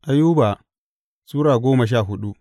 Ayuba Sura goma sha hudu